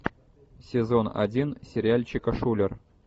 сезон один сериальчика шулер